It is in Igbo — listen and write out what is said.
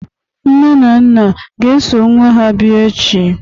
nne na nna ga-eso nwa ha bia echi?